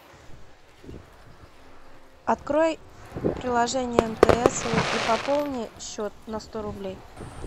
открой приложение мтс и пополни счет на сто рублей